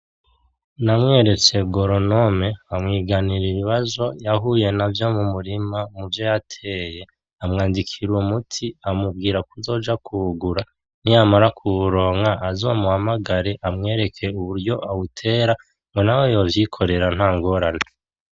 Namweretse Goronome amwiganira ibibazo yahuye navyo mu murima muvyo yateye, amwandikira uwo muti amubwira kuzoja kuwugura, niyamara kuwuronka azohamagare amwereke uburyo awutera ngo naho yovyikorera nta ngorane.